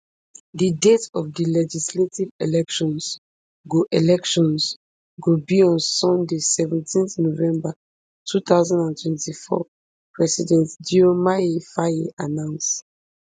di date of di legislative elections go elections go be on sunday seventeen november two thousand and twenty-four president diomaye faye announce